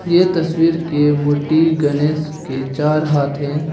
यह तस्वीर के मूर्ति गणेश के चार हाथ हैं।